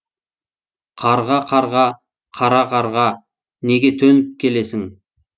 қарға қарға қара қарға неге төніп келесің